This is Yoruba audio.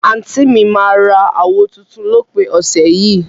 anti mi mà ra àwó tùntùn lópin ọsẹ yìí.